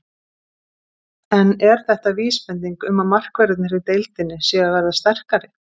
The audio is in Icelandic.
En er þetta vísbending um að markverðirnir í deildinni séu að verða sterkari?